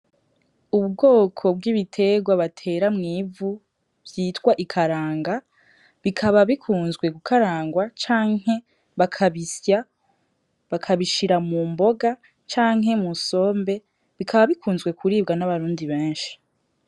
Ubwoko bw'ibiterwa batera mw'ivu vyitw'ikaranga bikaba bikunzwe gukarangwa canke bakabisya bakabishira mu mboga canke musombe bikaba bikunzwe kuribwa n'abarundi benshi.